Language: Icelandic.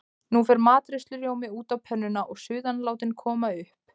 Nú fer matreiðslurjómi út á pönnuna og suðan látin koma upp.